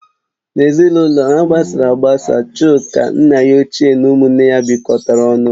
N'ezinụlọ ha gbasara agbasa Chuka, nna ya ochie na ụmụ nne ya bikotara ọnụ